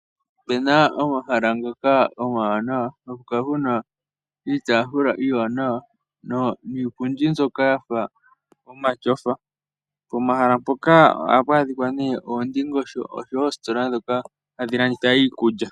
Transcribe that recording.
Opuna omahala ngoka omawanawa haku kala kuna iitaafula iiwanawa niipundi mbyoka yafa omatyofa. Pomahala mpoka ohapu adhika oondingosho nenge oositola ndhoka hadhi landitha iikulya.